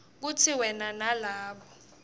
kutsi wena nalabo